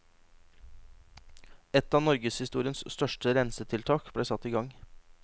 Et av norgeshistoriens største rensetiltak ble satt igang.